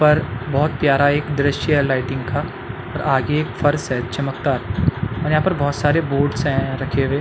पर बहोत प्यारा एक दिश्य है लाइटिंग का और आगे फर्श है चमकता और यहाँ पर बहोत सारे बोर्डस है रखे हुए।